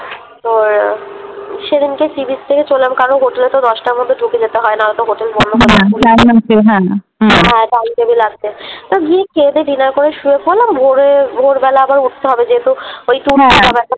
সেদিনকে Sea-becah থেকে চোলাম কারণ হোটেলে তো দশটার মধ্যে ঢুকে যেতে হয় না হলেতো হোটেল বন্ধ করে দেয় হ্যাঁ হ্যাঁ লাগবে তো গিয়ে খেয়ে দেয়ে Dinner করে শুয়ে পড়লাম কারণ ভোর হয়ে ভোরবেলা আবার উঠতে হবে যেহেতু ওই হ্যাঁ ব্যাপার